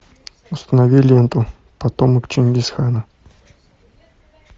установи ленту потомок чингисхана